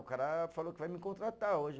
O cara falou que vai me contratar hoje.